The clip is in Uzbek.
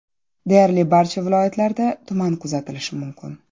Deyarli barcha viloyatlarda tuman kuzatilishi mumkin.